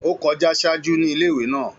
Ó kọjá ṣáájú ní ilé ìwé naa